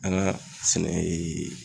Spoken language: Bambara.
An ka sɛnɛ ye